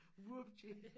Wupti